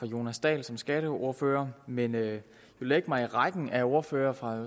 jonas dahl som skatteordfører men jeg vil lægge mig i rækken af ordførere fra